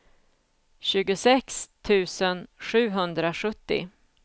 tjugosex tusen sjuhundrasjuttio